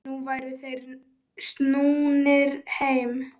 Nú væru þeir snúnir heim.